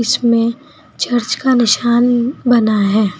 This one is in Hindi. चर्च का निशान बना है।